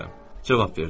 Cavab verdim.